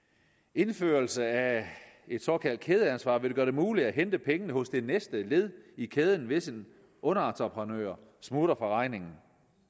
indførelse af et såkaldt kædeansvar vil gøre det muligt at hente pengene hos det næste led i kæden hvis en underentrepenør smutter fra regningen